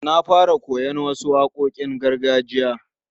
Na fara koyon wasu waƙoƙin gargajiya.